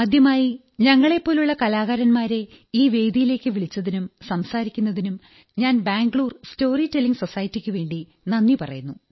ആദ്യമായി ഞങ്ങളെപ്പോലുള്ള കലാകാരന്മാരെ ഈ വേദിയിലേക്കു വിളിച്ചതിനും സംസാരിക്കുന്നതിനും ഞാൻ ബംഗളൂരു സ്റ്റോറി ടെല്ലിംഗ് സൊസൈറ്റിക്കുവേണ്ടി നന്ദി പറയുന്നു